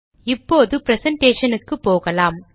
இப்போது ப்ரெசன்டேஷனுக்கு போகலாம்